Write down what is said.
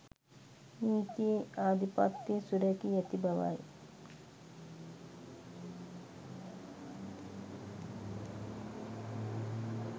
නීතියේ ආධිපත්‍යය සුරැකී ඇති බවයි.